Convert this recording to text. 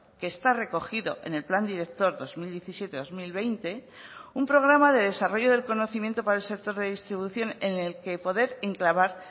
que está recogido en el plan director dos mil diecisiete dos mil veinte un programa de desarrollo del conocimiento para el sector de distribución en el que poder enclavar